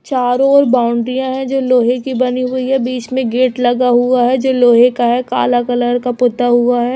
चारो ओर बाउंडरियाँ है। जो लोहे के बनी हुई है। बीच में गेट लगा हुआ है। जो लोहे का है। काला कलर का पुता हुआ है।